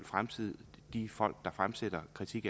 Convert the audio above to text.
fremtiden de folk der eventuelt fremsætter kritik